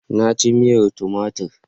Na ci miyar tumatir.